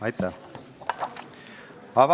Aitäh!